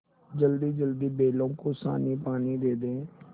जल्दीजल्दी बैलों को सानीपानी दे दें